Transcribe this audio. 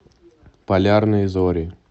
полярные зори